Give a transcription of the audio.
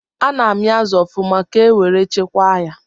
Ana amị azụ ọfụma ka nwere chekwa ya